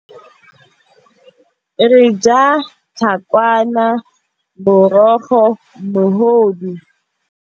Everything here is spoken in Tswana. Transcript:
Re ja tlhakwana, morogo, mogodu.